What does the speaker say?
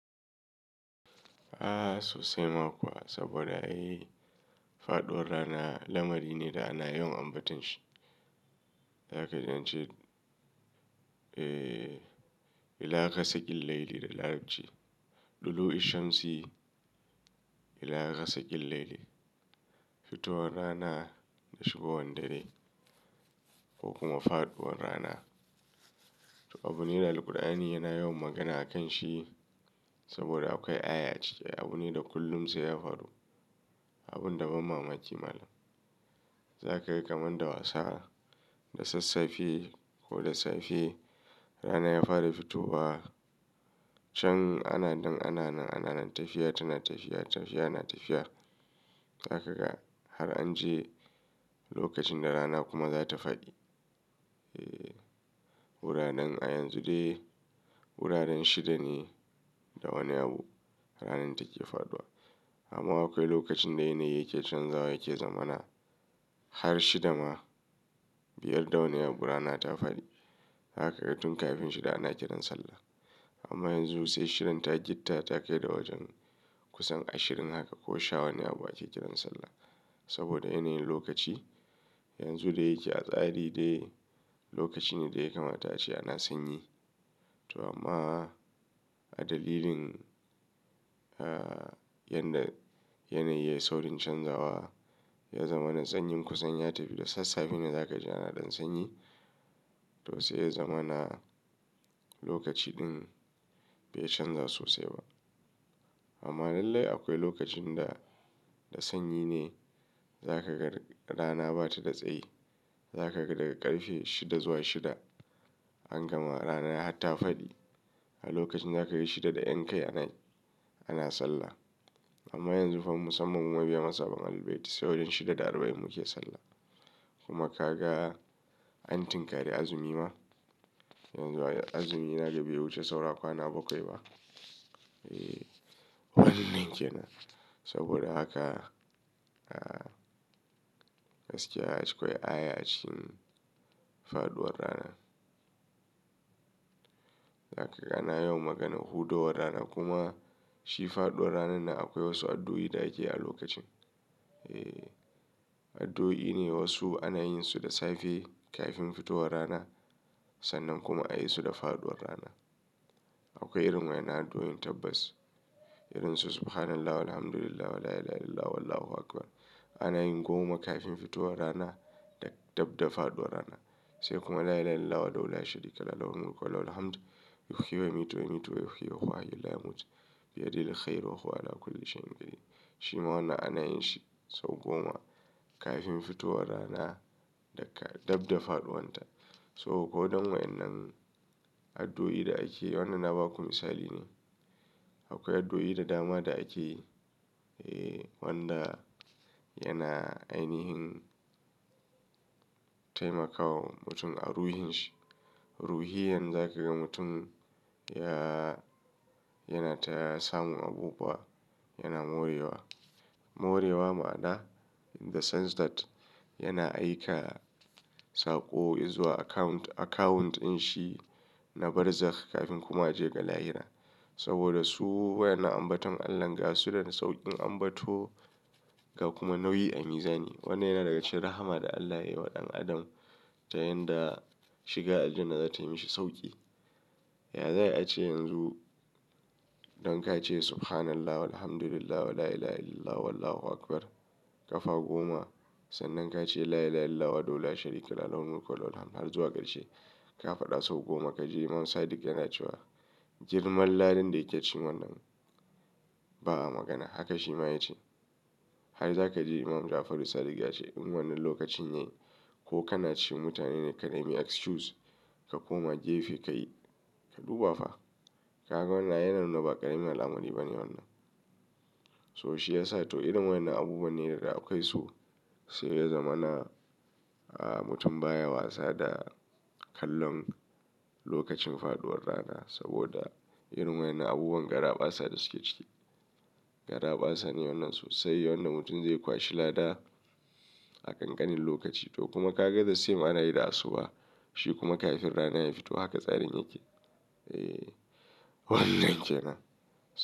A sosai ma kuwa saboda eh, faɗuwar rana lamari ne da ana yawan ambaton shi. Zaka ji an ce, eh, "Ila ga sakil laili" da Larabci. "Dulu'u isham si ilaha gasi killlaili." Fitowar rana da shigowar dare ko kuma faɗuwar rana. To, abu ne da Alqur'ani yana yawan magana a kan shi saboda akwai aya a cike. Abu ne da kullum sai ya faru. Abun da ban mamaki malam. Zaka ga kamar da wasa, da sassafe ko da safe rana ya fara fitowa. Can ana nan, ana nan, ana nan tafiya, tana tafiya, tafiya, na tafiya. Zaka ga har an je lokacin da rana kuma za ta faɗi. Eh, wuraren a yanzu dai wuraren shida ne da wani abu ranar take faɗuwa. Amma akwai lokacin da yanayi yake canzawa yake zama na har shida ma, biyar da wani abu rana ta faɗi. Zaka ka ga tun kafin shida ana kiran sallah. Amma yanzu sai shidan ta gitta ta kai wajen kusan ashirin haka ko sha wani abu ake kiran sallah. Saboda yanayin lokaci yanzu da yake a tsari dai lokaci ne da ya kamata ace ana sanyi. To amma a dalilin, ah, yan da yanayi ya yi saurin canzawa ya zama na tsanyin kusanya tafi da sassafe ne za ka ji ana ɗan sanyi. To sai ya zama na lokaci ɗin bai canza sosai ba. Amma lallai akwai lokacin da, da sanyi ne. Zaka ga rana ba ta da tsayi. Zaka ga daga ƙarfe shida zuwa shida an gama rana ya hatta faɗi. A lokacin za ka ga shida da 'yan kai anayi ana sallah. Amma yanzu fa musammu muna biya matsaban albaitin, saurin shida da arba'in muke sallah. Kuma ka ga an tinkari azumi ma. Yanzu azumi ina ga bai wuce saura kwana bakwai ba. Eh, wannan kenan. Saboda haka, ah, gaskiya akwai aya a cikin faɗuwar rana. Zaka ga ana yawan maganar hudo war rana kuma shi faɗuwar rana nan akwai wasu addu'o'i da ake yi a lokacin. Eh, addu'o'i ne wasu ana yin su da safe kafin fitowar rana sannan kuma ayi su da faɗuwar rana. Akwai irin wayen addu'o'in tabbas. Irin su "Subhanallah wal hamdulillah wa la ila ha illallah wallahu akbar." Ana yin goma kafin fitowar rana da dabda faɗuwar rana. Sai kuma "La ila ha illallah wadahu la sharika lahul mulku wa lahul hamdu, yuhiyi wa yumeetu wa yumeitu wa yuhiyu wa yu'mitu bi yadaihi al-khair wa la kulli shin gairi." Shi ma wannan ana yin shi sau goma kafin fitowar rana da ka dabda faɗuwanta. So ko waɗannan wayen nan addu'o'i da ake yi wannan na ba ku misali ne. Akwai addu'o'i da dama da ake yi, eh, wanda yana ainihin taimakawa mutum a ruhin shi. Ruhiyan za ka ga mutum ya, yana ta samun abubuwa, yana morewa. Morewa ma'ana in the sense that yana aika saƙo izuwa account, akawuntin shi na barzakh kafin kuma a je ga lahira. Saboda su wayan na ambaton Allahn ga su da sauƙin ambato ga kuma nauyi a miza ni. Wannan yana daga cikin rahama da Allah yayi wa ɗan adam ta yanda shiga aljanna za tayi mishi sauƙi. Yaza ai ace yanzu don ka ce "Subhanallah wal hamdulillah wa la ila ha illallah wallahu akbar" ƙafa goma sannan ka ce "La ila ha illallah wadahu la sharika lahul mulku wa lahul hamdu" har zuwa ƙarshe ka faɗa sau goma ka ji Imam Sadiq yana cewa, "girman ladan da yake ci wannan, ba a magana." Haka shi ma ya ce. Har za ka ji Imam Jafar Sadiq ya ce, "In wannan lokacin yayi ko kana ci mutane ne ka dai mi excuse ka koma gefe ka yi, ka duba fa." Kaga wannan yana nuna ba ƙaramin alamari ba ne wannan. To shi ya sa to irin wayan na abubuwa ne da da akwai su sai ya zama na, ah, mutum baya wasa da kallon lokacin faɗuwar rana. Saboda irin wayan na abubuwan garaɓasa da suke ciki. Garaɓasa ne wannan sosai. Wanda mutum zai kwashi lada a ƙanƙanin lokaci. To kuma ka ga the same ana yi da asuba. Shi kuma kafin rana ya fito haka tsarin yake. Eh, wannan kenan.